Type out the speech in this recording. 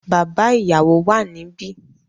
Bàbá ìyàwó wà níbí.